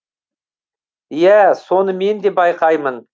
иә соны мен де байқаймын